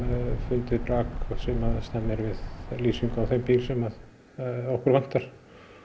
fundið brak sem stemmir við lýsingar á þeim bíl sem okkur vantar